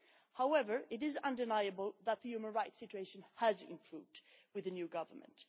However, it is undeniable that the human rights situation has improved with the new Government.